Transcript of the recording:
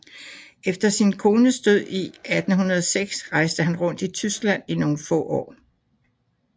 Efter sin kones død i 1806 rejste han rundt i Tyskland i nogle få år